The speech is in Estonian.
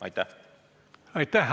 Aitäh!